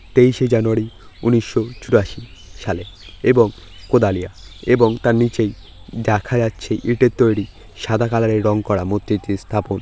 তেইশ শে জানুয়ারি উনিশ চুরাশি সালে এবং কোদালিয়া এবং তার নিচেই দেখা যাচ্ছে ইটের তৈরি সাদা কালার এর রং করা মৈত্রীটি স্থাপন ।